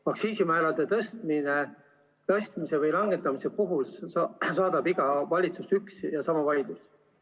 Aktsiisimäärade tõstmise või langetamise puhul saadab iga valitsust üks ja sama vaidlus.